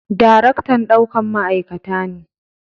Daraktan ɗaukan ma'aikata ne.